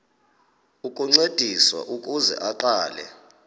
ukuncediswa ukuze aqale